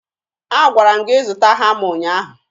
Agwara m gị zụta hama ụnyaahụ